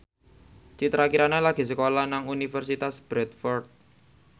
Citra Kirana lagi sekolah nang Universitas Bradford